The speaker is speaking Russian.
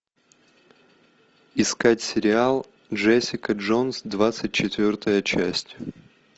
искать сериал джессика джонс двадцать четвертая часть